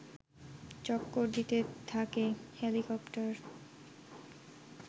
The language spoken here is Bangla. চক্কর দিতে থাকে হেলিকপ্টার